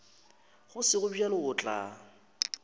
go sego bjalo o tla